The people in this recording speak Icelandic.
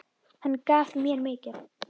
Hann gaf mér mikið.